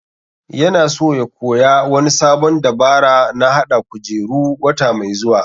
Ya na so ya koya wani sabon dabara na hada kujeru wata mai zuwa